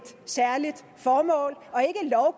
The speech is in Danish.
særligt formål og